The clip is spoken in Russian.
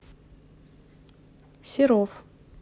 серов